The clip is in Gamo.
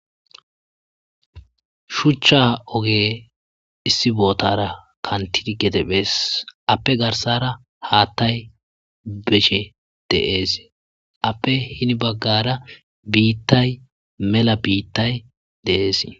Shuchcha oge issi bootara kantidi gete phees appe garsara haattay beshe deees appe hini baggara biittay mela biittay dees.